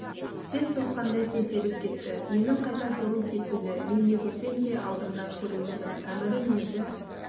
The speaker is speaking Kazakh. сең сокқандай теңселіп кетті менің қайтар жолым кесулі мен не көрсем де алдымнан көрулімін әмірім енді